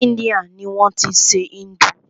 Ni Índia ni wọ́n tí ń ṣe Hindu.